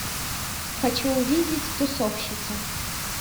хочу увидеть тусовщица